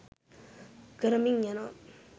කරමින් යනවා